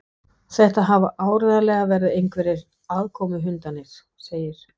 Þetta hafa áreiðanlega verið einhverjir aðkomuhundarnir segir